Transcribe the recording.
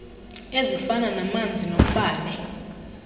ezifana namanzi nombane